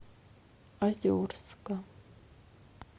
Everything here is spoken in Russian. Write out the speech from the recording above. озерска